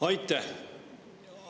Aitäh!